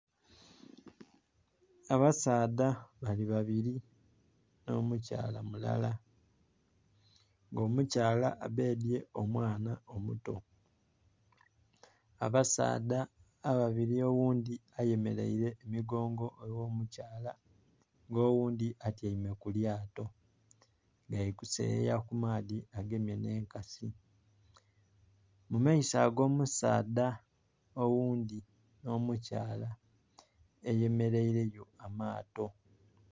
Abasaadha bali babiri nho mu Kayla mulala nga omukyala abedhye omwaana omuto abasaadha ababiri oghundhi ayemereire emugongo egho mukyala nga oghundhi atyaime ku lyato bali kuseyeya ku maadhi agemye nhe enkasi. Mu maiso ago musaadha oghundhi nho mu Kayla, eyemereire yo amato.